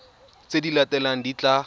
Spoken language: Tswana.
tse di latelang di tla